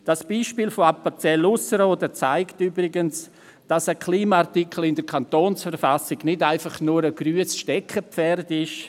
Das Beispiel von Appenzell Ausserrhoden zeigt übrigens, dass ein Klimaartikel in der Kantonsverfassung nicht einfach nur ein grünes Steckenpferd ist.